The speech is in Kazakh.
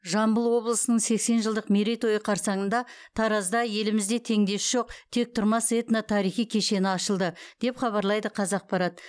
жамбыл облысының сексен жылдық мерейтойы қарсаңында таразда елімізде теңдесі жоқ тектұрмас этно тарихи кешені ашылды деп хабарлайды қазақпарат